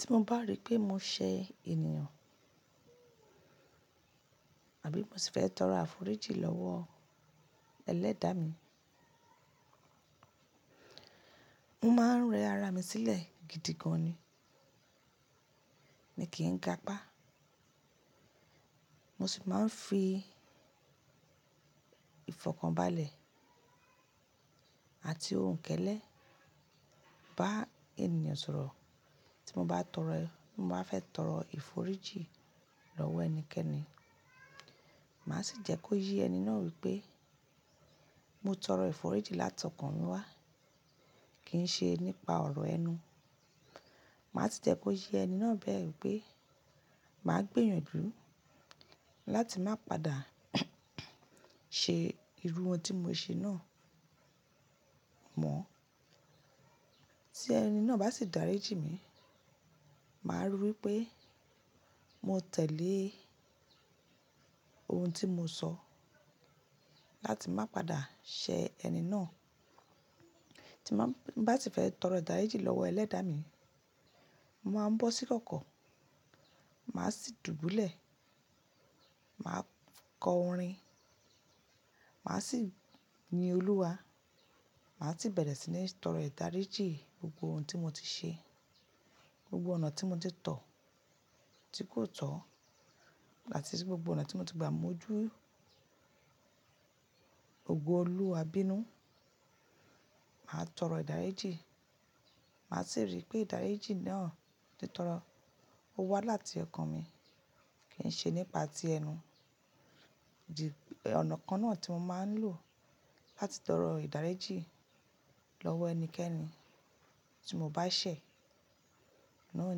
Tí mo bá rí pé mò ṣẹ ènìyàn, àbí mo sì fẹ́ tọrọ àforíjì lọ́wọ́ ẹlẹ́dàá mi, mo máa ń rẹ ara mi sílẹ̀ gidi gan ni. Mi kì í ga apá. Mo sì máa ń fi ìfọ̀kànbalẹ̀ àti òhuǹ kẹ́lẹ́ bá ènìyàn sọ̀rọ̀ tí mo bá fẹ́ tọrọ ìforíjì lọ́wọ́ ẹnikẹ́ni. Màá sì jẹ́ kó yí ẹni náà wípé mo tọrọ ìforíjì látọ̀kàn mi wá kì ń ṣe nípa ọ̀rọ̀ ẹnu. Màá sì jẹ́ kó yí ẹni náà bẹ́ẹ̀ wípé màá gbìyànjú láti má pàdà ṣe irú ohun tí mo ṣe náà mọ́. Tí ẹni náà bá sì dáríjì mi, màá rí wípé mo tẹ̀lé ohun tí mo sọ láti má pàdà ṣẹ ẹni náà. Tí mo bá sì fẹ́ tọrọ ìdáríjì lọ́wọ́ ẹlẹ́dàá mi, mo máa ń bọ́ sí kọ̀kọ̀, màá sì dùbúlẹ̀, màá kọ orin, màá sì yin Olúwa, màá sì bẹ̀rẹ̀ sí ní tọrọ ìdáríjì gbogbo ohun tí mo ti ṣe, gbogbo ọ̀nà tí mo ti tọ̀ tí kò tọ́ àti gbogbo ọ̀nà tí mo ti gbà mú ojú ògo Olúwa bínú. Màá tọrọ ìdáríjì, màá sì rí pé ìdáríjì náà tí mo tọrọ wá láti ọkàn mi kì ń ṣe nípa ti ẹnu. Ọ̀nà kan náà tí mo máa ń lò láti tọrọ ìdáríjì lọ́wọ́ ẹnikẹ́ni tí mo bá ṣẹ̀ náà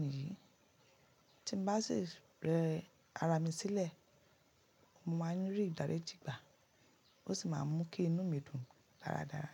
nìyí. Tí mo bá sì rẹ ara mi sílẹ̀, mo máa ń rí ìdáríjì gbà ó sì máa ń mú kí inú mi dùn dáradára.